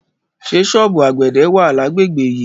Ṣé ṣọ́ọ̀bù àgbẹ̀dẹ wà lágbègbè yìí?